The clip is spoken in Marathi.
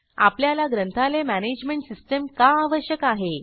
आपल्याला ग्रंथालय मॅनेजमेंट सिस्टीम का आवश्यक आहे